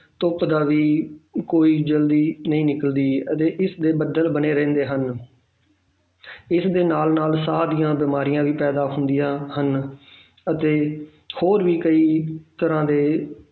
ਧੁੱਪ ਦਾ ਵੀ ਕੋਈ ਜ਼ਲਦੀ ਨਹੀਂ ਨਿਕਲਦੀ ਅਤੇ ਇਸਦੇ ਬੱਦਲ ਬਣੇ ਰਹਿੰਦੇ ਹਨ ਇਸਦੇ ਨਾਲ ਨਾਲ ਸਾਹ ਦੀਆਂ ਬਿਮਾਰੀਆਂ ਵੀ ਪੈਦਾ ਹੁੰਦੀਆਂ ਹਨ ਅਤੇ ਹੋਰ ਵੀ ਕਈ ਤਰ੍ਹਾਂ ਦੇ